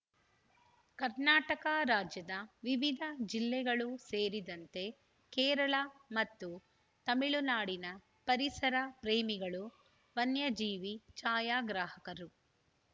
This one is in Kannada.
ಕರ್ನಾಟಕ ರಾಜ್ಯದ ವಿವಿಧ ಜಿಲ್ಲೆಗಳು ಸೇರಿದಂತೆ ಕೇರಳ ಮತ್ತು ತಮಿಳುನಾಡಿನ ಪರಿಸರ ಪ್ರೇಮಿಗಳು ವನ್ಯಜೀವಿ ಛಾಯಾಗ್ರಾಹಕರು